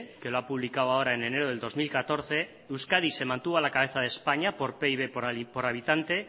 que lo ha publicado ahora en enero de dos mil catorce euskadi se mantuvo a la cabeza de españa por pib por habitante